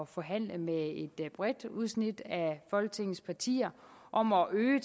forhandle med et bredt udsnit af folketingets partier om at øge